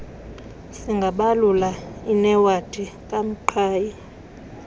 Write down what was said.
singabalula inewadi kamqhayi